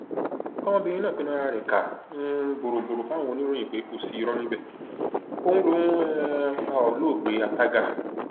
ọmọbìnrin náà fẹnu ara rẹ ká um borọrọ fáwọn oníròyìn pé kò sí irọ níbẹ òun lòún um pa olóògbé àtàgà